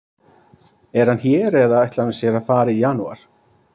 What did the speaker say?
Er hann hér eða ætlar hann sér að fara í janúar?